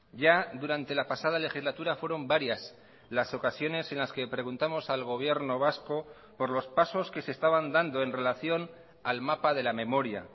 ya durante la pasada legislatura fueron varias las ocasiones en las que preguntamos al gobierno vasco por los pasos que se estaban dando en relación al mapa de la memoria